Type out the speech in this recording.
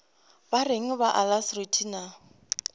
ba reng ba alacrity na